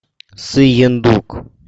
сыендук